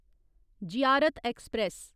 Ziarat express